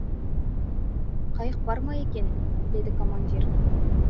қайық бар ма екен деді командир